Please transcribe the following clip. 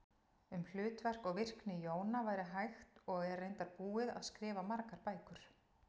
Um hlutverk og virkni jóna væri hægt og er reyndar búið að skrifa margar bækur.